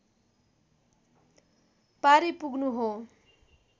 पारी पुग्नु हो